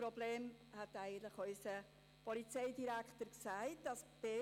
Das Problem hat unser Polizeidirektor eigentlich erwähnt: